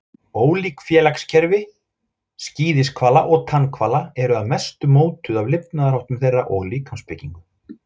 Ólík félagskerfi skíðishvala og tannhvala eru að mestu mótuð af lifnaðarháttum þeirra og líkamsbyggingu.